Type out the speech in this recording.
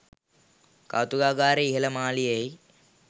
කෞතුකාගාරයේ ඉහල මාලයෙහි